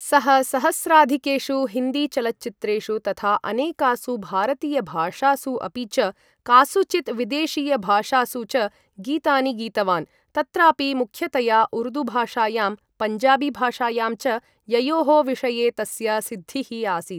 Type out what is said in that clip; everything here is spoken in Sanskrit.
सः सहस्राधिकेषु हिन्दीचलच्चित्रेषु तथा अनेकासु भारतीयभाषासु अपि च कासुचित् विदेशीयभाषासु च गीतानि गीतवान्। तत्रापि मुख्यतया उर्दूभाषायां पञ्जाबीभाषायां च, ययोः विषये तस्य सिद्धिः आसीत्।